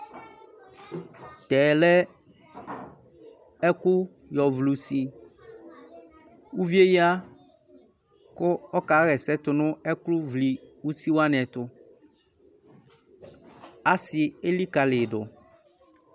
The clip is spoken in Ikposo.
Tɛ lɛ ɛkʋ yɔvlɩ usi Uvi yɛ ya kʋ ɔkaɣa ɛsɛ tʋ nʋ ɛkʋvlɩ usi wanɩ ɛtʋ Asɩ elikalɩ yɩ dʋ